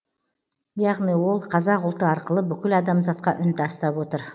яғни ол қазақ ұлты арқылы бүкіл адамзатқа үн тастап отыр